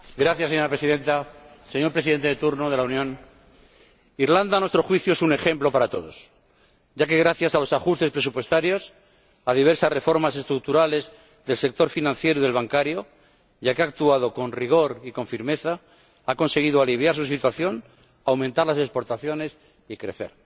Señora Presidenta, señor Presidente en ejercicio del Consejo, Irlanda, a nuestro juicio, es un ejemplo para todos, ya que, gracias a los ajustes presupuestarios, a diversas reformas estructurales del sector financiero y del bancario, y a que ha actuado con rigor y con firmeza, ha conseguido aliviar su situación, aumentar las exportaciones y crecer.